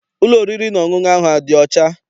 Ụlọ oriri na ọṅụṅụ ahụ adị ọcha?